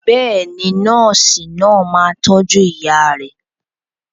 Bẹ́ẹ̀ni, nọ́ọ̀sì náà máa tọ́jú ìyá rẹ.